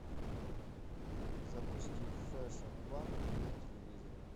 запусти фэшн ван на телевизоре